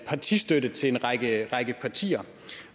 partistøtte til en række partier